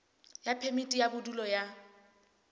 ya phemiti ya bodulo ya